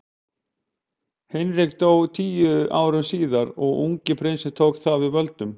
Hinrik dó tíu árum síðar og ungi prinsinn tók þá við völdum.